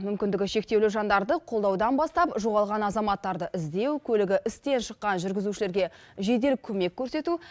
мүмкіндігі шектеулі жандарды қолдаудан бастап жоғалған азаматтарды іздеу көлігі істен шыққан жүргізушілерге жедел көмек көрсету